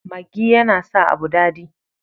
Maggi yana sa abu dadi.